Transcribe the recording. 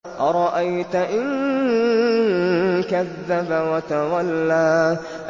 أَرَأَيْتَ إِن كَذَّبَ وَتَوَلَّىٰ